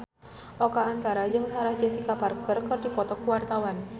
Oka Antara jeung Sarah Jessica Parker keur dipoto ku wartawan